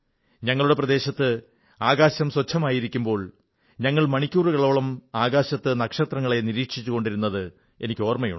ഞങ്ങളുടെ പ്രദേശത്ത് ആകാശം സ്വച്ഛമായിരുന്നപ്പോൾ ഞങ്ങൾ മണിക്കൂറുകളോളം ആകാശത്ത് നക്ഷത്രങ്ങളെ നിരീക്ഷിച്ചുകൊണ്ടിരുന്നത് ഓർമ്മയുണ്ട്